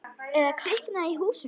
Eða kviknað í húsinu.